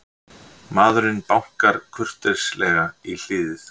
Maðurinn bankar kurteislega í hliðið.